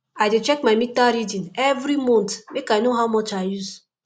i dey check my meter reading every month make i know how much i use